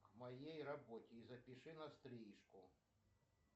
в моей работе и запиши на стрижку